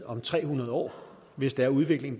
om tre hundrede år hvis den udvikling